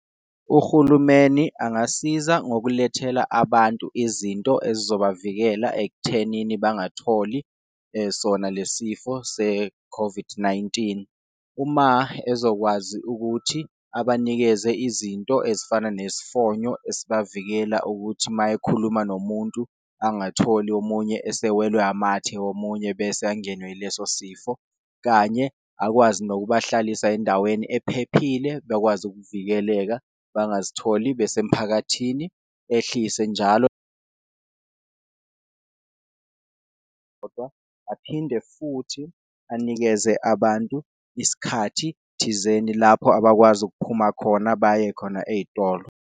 Uhulumeni angasiza ngizokulethela abantu izinto ezizobavikela ekuthenini bangatholi sona lesi sifo se-COVID-19, uma ezokwazi ukuthi abanikeze izinto ezifana nezifonyo esibavikela ukuthi mayekhuluma nomuntu, angatholi omunye esewelwa amathe omunye bese angenwe ileso sifo. Kanye akwazi nokubahlalisa endaweni ephephile bekwazi ukuvikeleka bangazitholi bese mphakathini, ehlise njalo kodwa aphinde futhi anikeze abantu isikhathi thizeni lapho abakwazi ukuphuma khona baye khona ey'tolo.